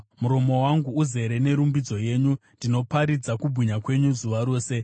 Muromo wangu uzere nerumbidzo yenyu, ndinoparidza kubwinya kwenyu zuva rose.